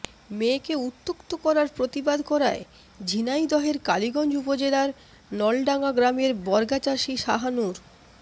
মেয়েকে উত্ত্যক্ত করার প্রতিবাদ করায় ঝিনাইদহের কালীগঞ্জ উপজেলার নলভাঙ্গা গ্রামের বর্গাচাষি শাহানূর